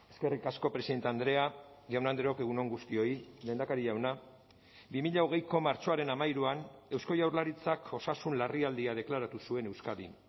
eskerrik asko presidente andrea jaun andreok egun on guztioi lehendakari jauna bi mila hogeiko martxoaren hamairuan eusko jaurlaritzak osasun larrialdia deklaratu zuen euskadin